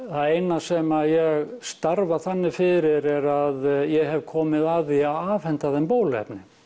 það eina sem að ég starfa þannig fyrir er að ég hef komið að því að afhenda þeim bóluefni